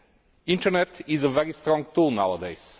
The internet is a very strong tool nowadays.